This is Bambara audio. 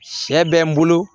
Sɛ bɛ n bolo